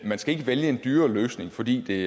skal vælge en dyrere løsning fordi